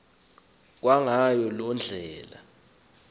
kwangayo loo ndlela